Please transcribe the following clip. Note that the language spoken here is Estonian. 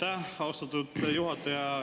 Aitäh, austatud juhataja!